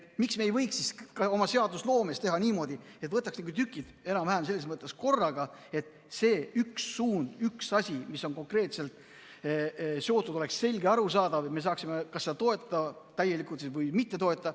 Miks me ei võiks siis oma seadusloomes teha niimoodi, et võtaks nagu tükid enam-vähem selles mõttes korraga, et see üks suund, üks asi, mis on konkreetselt millegagi seotud, oleks selge ja arusaadav, nii et me saaksime seda kas täielikult toetada või mitte toetada.